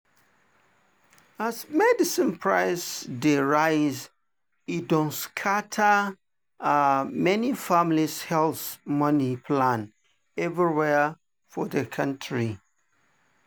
as medicine price dey rise e don scatter um many families’ health money plan everywhere for the country.